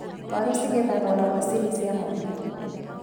Waru cigethagwo na macini cia mwanya.